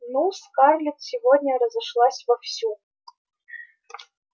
ну скарлетт сегодня разошлась вовсю